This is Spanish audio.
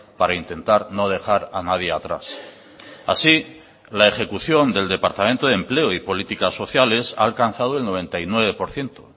para intentar no dejar a nadie atrás así la ejecución del departamento de empleo y políticas sociales ha alcanzado el noventa y nueve por ciento